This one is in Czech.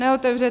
Neotevře.